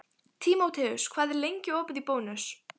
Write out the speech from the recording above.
Tímoteus, hvað er lengi opið í Bónus?